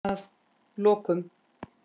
Að lokum.